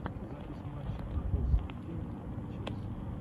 запись матча апл саутгемптон и челси